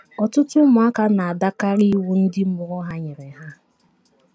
Ọtụtụ ụmụaka na - adakarị iwu ndị mụrụ ha nyere ha.